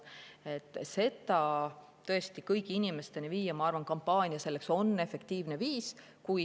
Selleks, et seda tõesti kõigi inimesteni viia, on kampaania minu arvates efektiivne viis.